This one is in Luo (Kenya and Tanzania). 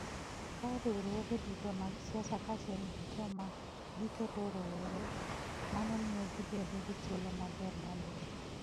Ka riwruoge duto mag siasa kaachiel gi joma giketo rowere, mano miyo gibedo gi thuolo maber mar locho.